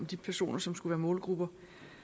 de personer som skulle være målgrupper